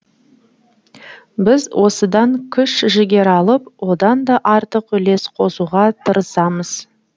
біз осыдан күш жігер алып одан да артық үлес қосуға тырысамыз